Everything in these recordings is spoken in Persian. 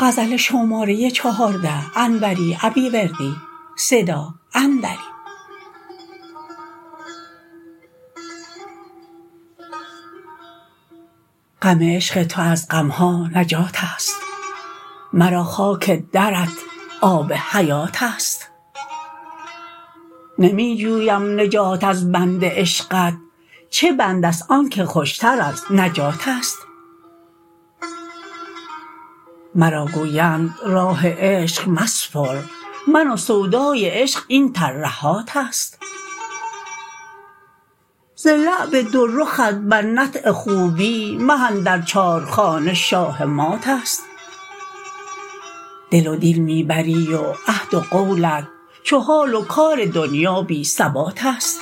غم عشق تو از غمها نجاتست مرا خاک درت آب حیاتست نمی جویم نجات از بند عشقت چه بندست آنکه خوشتر از نجاتست مرا گویند راه عشق مسپر من و سودای عشق این ترهاتست ز لعب دو رخت بر نطع خوبی مه اندر چارخانه شاه ماتست دل و دین می بری و عهد و قولت چو حال و کار دنیا بی ثباتست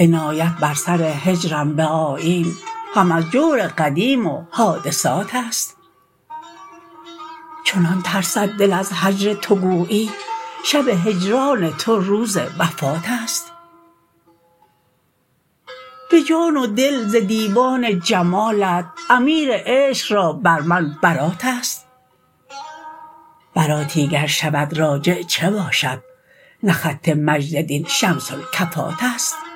عنایت بر سر هجرم به آیین هم از جور قدیم و حادثاتست چنان ترسد دل از هجر تو گویی شب هجران تو روز وفاتست به جان و دل ز دیوان جمالت امیر عشق را بر من براتست براتی گر شود راجع چه باشد نه خط مجد دین شمس الکفاتست